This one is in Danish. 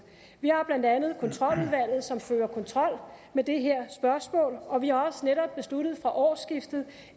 vi har blandt andet kontroludvalget som fører kontrol med det her spørgsmål og vi har også netop besluttet fra årsskiftet